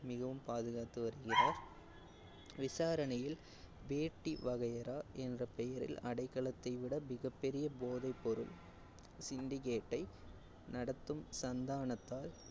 மிகவும் பாதுகாத்து வருகிறார் விசாரணையில், வேட்டி வகையறா என்ற பெயரில் அடைக்கலத்தை விட மிகப் பெரிய போதைப்பொருள் syndicate ஐ நடத்தும் சந்தானத்தால்,